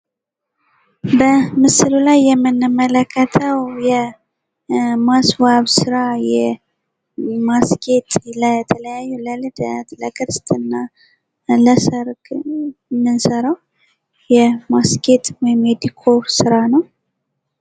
በምስሉ ላይ የምንመለከተው የማስዋብ ስራ፣ የማስጌጥ ለተለያዩ ለልደት ፣ ለክርስትና፣ ለሰርግ የምንሰራው የማስጌጥ ወይም የዲኮር ስራ ነው።